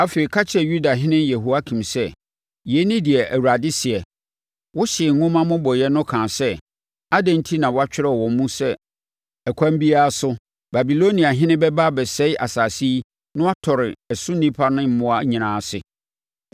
Afei, ka kyerɛ Yudahene Yehoiakim sɛ, ‘Yei ne deɛ Awurade seɛ: Wohyee nwoma mmobɔeɛ no kaa sɛ: “Adɛn enti na wotwerɛɛ wɔ mu sɛ ɛkwan biara so, Babiloniahene bɛba abɛsɛe asase yi na watɔre ɛso nnipa ne mmoa nyinaa ase?”